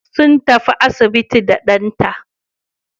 Sun tafi asibiti da ɗanta.